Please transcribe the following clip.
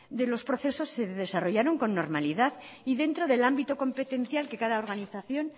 de los procesos se desarrollaron con normalidad y dentro del ámbito competencial que cada organización